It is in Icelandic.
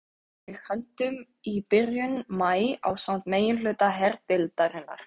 Bretar tóku mig höndum í byrjun maí ásamt meginhluta herdeildarinnar.